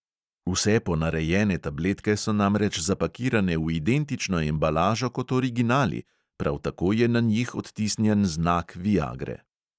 Vse ponarejene tabletke so namreč zapakirane v identično embalažo kot originali, prav tako je na njih odtisnjen znak viagre.